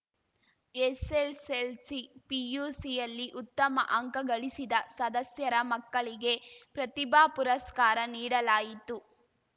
SSLC ಪಿಯುಸಿಯಲ್ಲಿ ಉತ್ತಮ ಅಂಕ ಗಳಿಸಿದ ಸದಸ್ಯರ ಮಕ್ಕಳಿಗೆ ಪ್ರತಿಭಾ ಪುರಸ್ಕಾರ ನೀಡಲಾಯಿತು